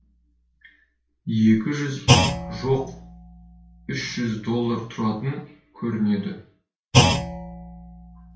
екі жүз жоқ үш жүз доллар тұратын көрінеді